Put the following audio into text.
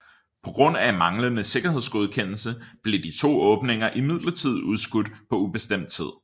På grund af manglende sikkerhedsgodkendelse blev de to åbninger imidlertid udskudt på ubestemt tid